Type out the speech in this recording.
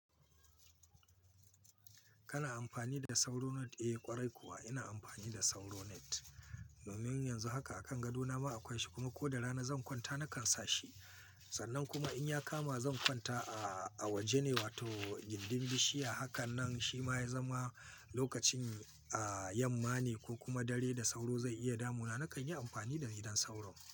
Kana amfani da sauro net? Eh ƙwarai kuwa ina amfani da sauro net. Domin yanzu haka a kan gado na ma akwai shi kuma ko da rana zan kwanta nakan sa shi. Sannan kuma in ya kama zan kwanta a waje ne wato gindin bishiya hakan nan shi ma ya zama lokacin yamman ne ko kuma dare da sauro zai iya damuna nakan yi amfani da gidan sauro.